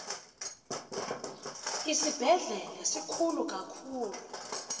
isibhedlele sikhulu kakhulu